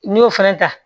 N'i y'o fana ta